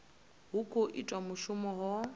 ha khou itiwa mushumo ho